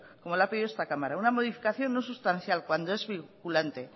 como le ha pedido esta cámara una modificación no sustancial cuando es vinculante